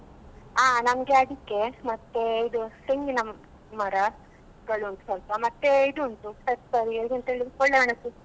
ಹ ನಮ್ಗೆ ಅಡಿಕೆ ಮತ್ತೆ ಇದು ತೆಂಗಿನ ಮರಗಳುoಟು ಸ್ವಲ್ಪ ಮತ್ತೆ ಇದು ಉಂಟು pepper ಇದು ಎಂತ ಹೇಳುದು ಒಳ್ಳೆ ಮೆಣಸು.